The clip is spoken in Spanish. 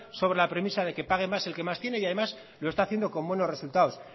sobre la premisa de que pague más el que más tiene y además lo está haciendo con buenos resultados